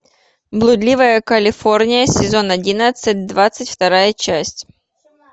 блудливая калифорния сезон одиннадцать двадцать вторая часть